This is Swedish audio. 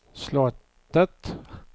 slottet